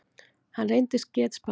Hann reyndist getspakur.